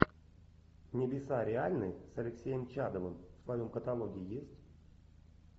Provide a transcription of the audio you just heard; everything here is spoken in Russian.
небеса реальны с алексеем чадовым в твоем каталоге есть